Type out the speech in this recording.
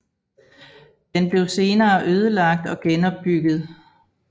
Den blev senere ødelagt og genopbygget